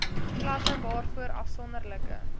klasse waarvoor afsonderlike